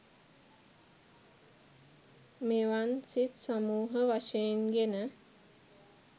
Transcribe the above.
මෙවන් සිත් සමූහ වශයෙන් ගෙන